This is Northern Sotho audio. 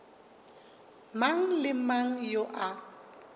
mang le mang yo a